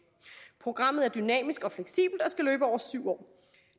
programmet er dynamisk og fleksibelt og skal løbe over syv år